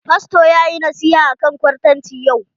Fasto ya yi nasiha akan kwartanci yau.